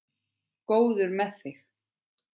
Góður með þig.